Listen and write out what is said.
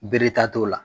Bere ta t'o la